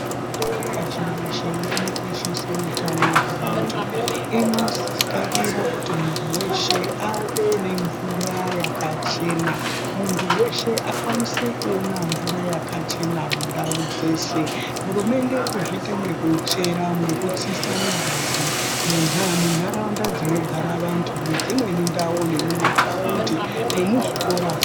Hurumende pashi reshe inokoshesa utano hwevantu. Inokarire kuti munhu weshe ave nemvura yakachena. Munhu weshe akwanise kuona mvura yakachena mundau dzeshe. Hurumende irikuzviita ngekutsa migodhi munharaunda dzinogara vantu, mumathaundi nemuzvikora.